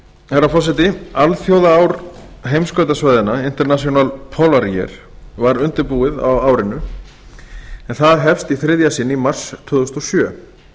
herra forseti alþjóðaár heimskautasvæðanna international polar year var undirbúið á árinu en það hefst í þriðja sinn í mars tvö þúsund og sjö